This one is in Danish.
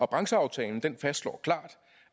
brancheaftalen fastslår klart